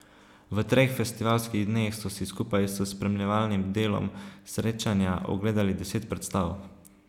V treh festivalskih dneh so si skupaj s spremljevalnim delom srečanja ogledali deset predstav.